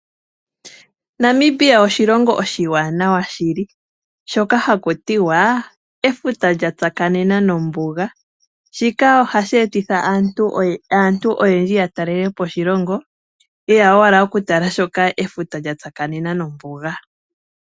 Namibia oshilongo oshiwanawa shili, shoka haku tiwa efuta lya tsakanena nombuga. Shika ohashi etitha aantu oyendji ya talelepo oshilongo , ye ya owala oku tala sho efuta lya tsakanena nombuga.